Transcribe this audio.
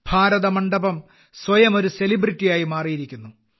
ഭാരതമണ്ഡപം സ്വയം ഒരു സെലിബ്രിറ്റിയായി മാറിയിരിക്കുന്നു